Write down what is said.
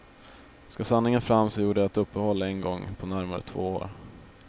Skall sanningen fram så gjorde jag ett uppehåll en gång på närmare två år.